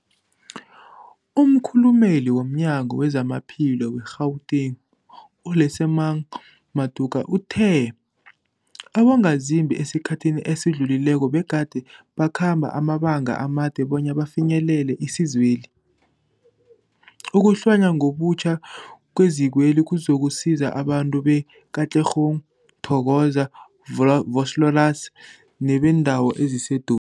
Umkhulumeli womNyango weZamaphilo we-Gauteng, u-Lesemang Matuka uthe abongazimbi esikhathini esidlulileko begade bakhamba amabanga amade bona bafinyelele isizweli. Ukuhlonywa ngobutjha kwezikweli kuzokusiza abantu be-Katlehong, Thokoza, Volo Vosloorus nebeendawo ezisedu